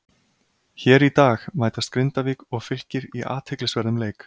Hér í dag mætast Grindavík og Fylkir í athyglisverðum leik.